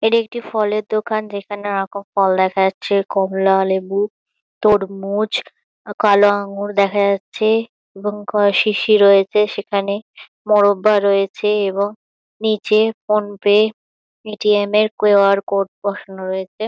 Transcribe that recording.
এটা একটি ফলের দোকান। যেখানে নানারকম ফল দেখা যাচ্ছে। কমলালেবু তরমুজ কালো আঙ্গুর দেখা যাচ্ছে এবং কয় শিশি রয়েছে সেখানে মোরব্বা রয়েছে এবং নিচে ফোনপে পে.টি.এম -এর কিউ.আর কোড বসানো রয়েছে।